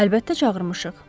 Əlbəttə çağırmışıq.